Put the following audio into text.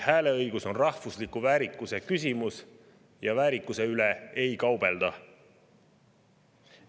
Hääleõigus on rahvusliku väärikuse küsimus ja väärikuse üle ei kaubelda.